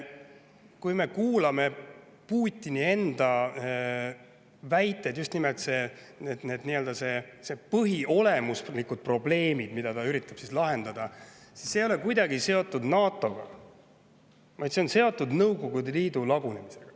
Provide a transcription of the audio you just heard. Kui me kuulame Putini enda väiteid, siis need põhiolemuslikud probleemid, mida ta üritab lahendada, ei ole kuidagi seotud NATO‑ga, vaid on seotud Nõukogude Liidu lagunemisega.